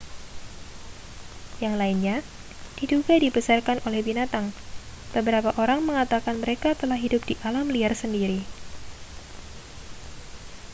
yang lainnya diduga dibesarkan oleh binatang beberapa orang mengatakan mereka telah hidup di alam liar sendiri